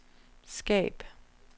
skab